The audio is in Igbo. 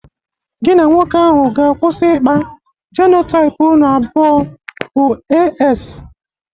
Gi na nwoke ahụ ga-akwụsị ikpa: jenotaịp ụnụ abụọ bụ AS.!